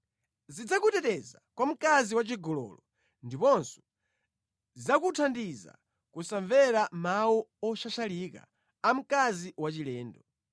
Zidzakuteteza kwa mkazi wachigololo ndiponso zidzakuthandiza kusamvera mawu oshashalika a mkazi wachilendo.